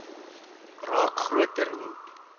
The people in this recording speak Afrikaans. raak groter hoe